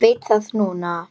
Veit það núna.